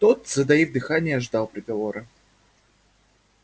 тот затаив дыхание ждал приговора